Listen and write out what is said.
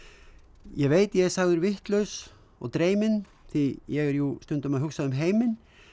ég veit ég er sagður vitlaus og dreyminn því ég er jú stundum að hugsa um heiminn